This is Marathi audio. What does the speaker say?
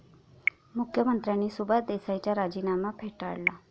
मुख्यमंत्र्यांनी सुभाष देसाईंचा राजीनामा फेटाळला!